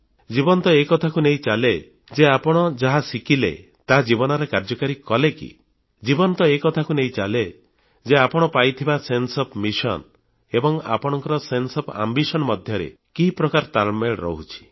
ଜୀବନ ତ ଏ କଥାକୁ ନେଇ ଚାଲେ ଯେ ଆପଣ ଯାହା ଶିଖିଲେ ତାହା ଜୀବନରେ କାର୍ଯ୍ୟକାରୀ କଲେ କି ଜୀବନ ତ ଏ କଥାକୁ ନେଇ ଚାଲେ ଯେ ଆପଣ ପାଇଥିବା ସେନ୍ସେ ଓଏଫ୍ ମିଶନ ଏବଂ ଆପଣଙ୍କ ସେନ୍ସେ ଓଏଫ୍ ଆମ୍ବିଶନ ମଧ୍ୟରେ କି ପ୍ରକାର ତାଳମେଳ ରହୁଛି